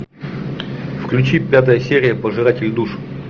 включи пятая серия пожиратель душ